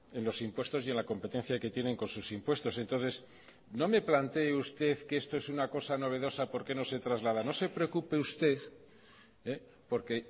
en los impuestos y en la competencia que tienen con sus impuestos entonces no me plantee usted que esto es una cosa novedosa porque no se traslada no se preocupe usted porque